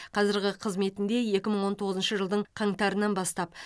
қазіргі қызметінде екі мың он тоғызыншы жылдың қаңтарынан бастап